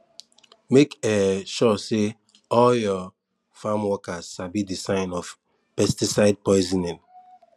make um sure say all your farm workers sabi the sign of pesticide poisoning